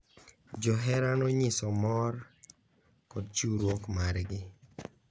Johera nonyiso mor kod chiwruok margi